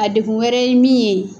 A degun wɛrɛ ye min ye ?